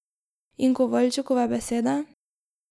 In Kovaljčukove besede?